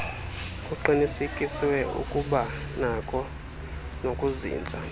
kuqinisekiswe ukubanakho nokuzinza